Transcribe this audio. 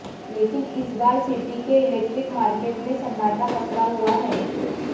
लेकिन इस बार सिटी के इलेक्ट्रिक मार्केट में सन्नाटा पसरा हुआ है